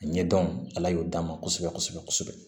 A ɲɛdɔn ala y'o d'an ma kosɛbɛ kosɛbɛ